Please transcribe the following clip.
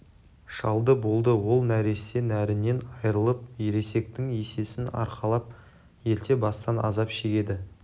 шалды болды ол нәресте нәрінен айырылып ересектің есесін арқалап ерте бастан азап шегеді